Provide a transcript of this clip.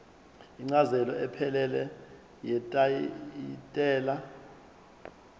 incazelo ephelele yetayitela